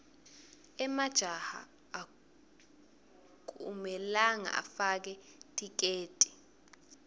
emajaha akumelanga afake tiketi